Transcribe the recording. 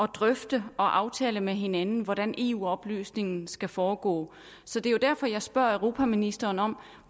drøfte og aftale med hinanden hvordan eu oplysningen skal foregå så det er jo derfor jeg spørger europaministeren om